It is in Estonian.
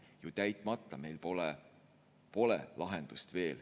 See on täitmata, meil pole veel lahendust.